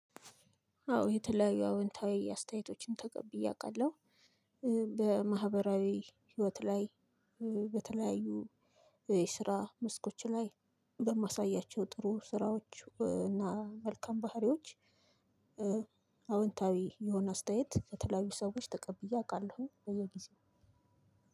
አዎ የተለያዩ አዎንታዊ አስተያየቶችን ተቀብዬ አውቃለሁ። በማህበራዊ ህይወት ላይ በተለያዩ የስራ መስኮች ላይ በማሳያቸው ጥሩ ስራዎች እና መልካም ባህሪዎች አዎንታዊ የሆነ አስተያየት ከተለያዩ ሰዎች ተቀብዬ አውቃለሁ በየጊዜው።